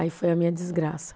Aí foi a minha desgraça.